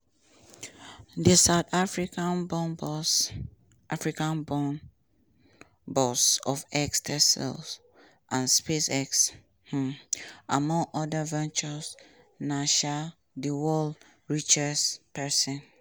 di south africa-born boss africa-born boss of x tesla and spacex um among oda ventures na um di world richest pesin.